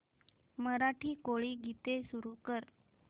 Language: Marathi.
मराठी कोळी गीते सुरू कर